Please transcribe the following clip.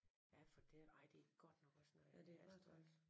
Ja for den ej det er godt nok også noget af et hastværk